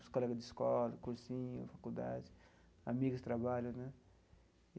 Os colegas de escola, cursinho, faculdade, amigas, trabalho, né?